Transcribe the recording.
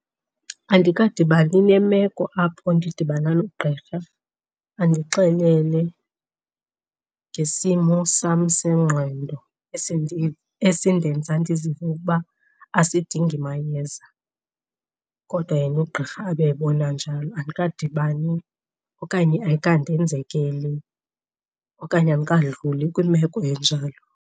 Andikadibani nemeko apho ndidibana nogqirha andixelele ngesimo sam sengqondo esindenza ndizive ukuba asidingi mayeza kodwa yena ugqirha abe ebona njalo. Andikadibani okanye ayikandenzekeli okanye andikadluli kwimeko enjalo.